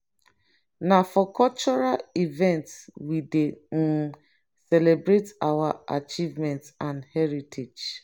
na for cultural events we dey um celebrate our achievements and heritage.